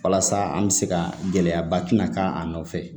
Walasa an bɛ se ka gɛlɛyaba tɛna k'a nɔfɛ